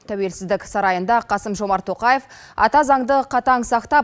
тәуелсіздік сарайында қасым жомарт тоқаев ата заңды қатаң сақтап